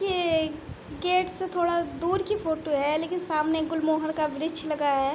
ये गेट से थोड़ा दूर की फ़ोटो है लेकिन सामने गुलमोहर का वृछ लगा है।